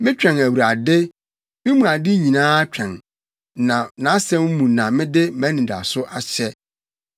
Metwɛn Awurade, me mu ade nyinaa twɛn, na nʼasɛm mu na mede mʼanidaso ahyɛ.